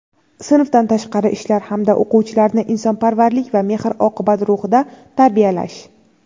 sinfdan tashqari ishlar hamda o‘quvchilarni insonparvarlik va mehr-oqibat ruhida tarbiyalash;.